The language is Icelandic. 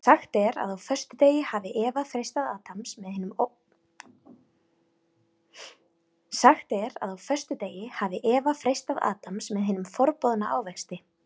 Sagt er að á föstudegi hafi Eva freistað Adams með hinum forboðna ávexti.